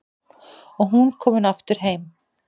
Og hún komin aftur heim.